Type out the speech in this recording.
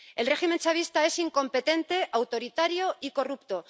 El régimen chavista es incompetente, autoritario y corrupto.